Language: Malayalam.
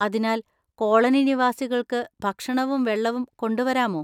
അതിനാൽ, കോളനി നിവാസികൾക്ക് ഭക്ഷണവും വെള്ളവും കൊണ്ടുവരാമോ?